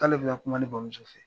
K'ale bɛna kuma ne bamuso fɛ.